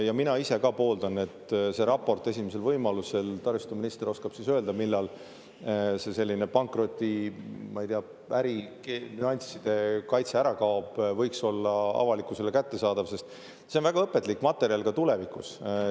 Ja mina ise ka pooldan, et see raport esimesel võimalusel – taristuminister oskab öelda, millal see pankroti, ma ei tea, ärinüansside kaitse ära kaob – võiks olla avalikkusele kättesaadav, sest see on väga õpetlik materjal ka tulevikus.